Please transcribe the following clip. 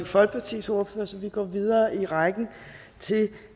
folkepartis ordfører så vi går videre i rækken til